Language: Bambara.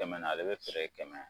Kɛmɛ na, ale bɛ feere kɛmɛ.